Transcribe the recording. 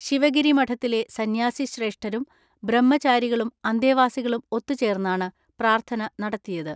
ശിവഗിരി മഠത്തിലെ സന്യാസിശ്രേഷ്ഠരും ബ്രഹ്മചാരികളും അന്തേവാസികളും ഒത്തു ചേർന്നാണ് പ്രാർത്ഥന നടത്തിയത്.